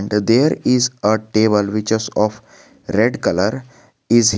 The there is a table witches of red colour is.